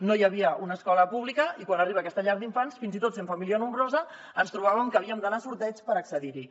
no hi havia una escola pública i quan arriba aquesta llar d’infants fins i tot sent família nombrosa ens trobàvem que havíem d’anar a sorteig per accedir hi